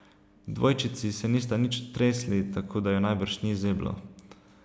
Dvojčici se nista nič tresli, tako da ju najbrž ni zeblo.